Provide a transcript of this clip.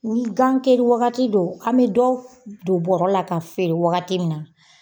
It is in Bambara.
Ni gan kari wagati don an bɛ dɔw don bɔrɔ la ka feere wagati min na